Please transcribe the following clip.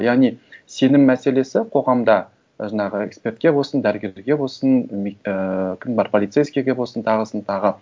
яғни сенім мәселесі қоғамда жаңағы экспертке болсын дәрігерге болсын і кім бар полицейскийге болсын тағысын тағы